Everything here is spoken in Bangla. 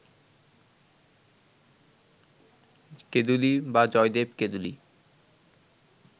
কেঁদুলী বা জয়দেব-কেঁদুলী